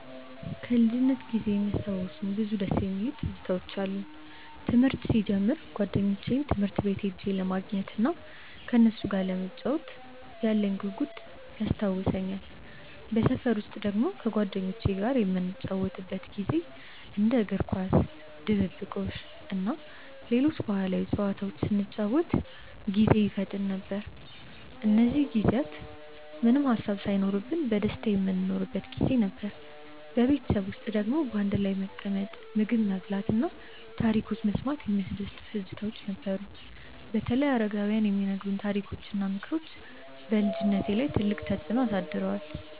ከልጅነቴ ጊዜ የሚያስታውሱኝ ብዙ ደስ የሚሉ ትዝታዎች አሉኝ። ትምህርት ሲጀምር ጓደኞቼን ትምህርት ቤት ሄጄ ለማግኘት እናም ከነሱ ጋር ለመጫወት ያለኝ ጉጉት ይታወሰኛል። በሰፈር ውስጥ ደግሞ ከጓደኞቼ ጋር የምንጫወትበት ጊዜ እንደ እግር ኳስ፣ ድብብቆሽ እና ሌሎች ባህላዊ ጨዋታዎች ስንጫወት ጊዜ ይፈጠን ነበር። እነዚህ ጊዜያት ምንም ሃሳብ ሳይኖርብን በደስታ የምንኖርበት ጊዜ ነበር። በቤተሰብ ውስጥ ደግሞ በአንድ ላይ መቀመጥ፣ ምግብ መብላት እና ታሪኮች መስማት የሚያስደስቱ ትዝታዎች ነበሩ። በተለይ አረጋውያን የሚነግሩት ታሪኮች እና ምክሮች በልጅነቴ ላይ ትልቅ ተፅዕኖ አሳድረዋል።